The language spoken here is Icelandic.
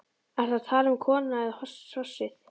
Ertu að tala um konuna eða hrossið?